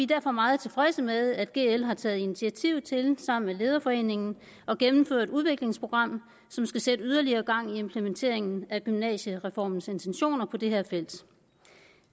derfor meget tilfredse med at gl har taget initiativ til sammen med lederforeningen at gennemføre et udviklingsprogram som skal sætte yderligere gang i implementeringen af gymnasiereformens intentioner på det her felt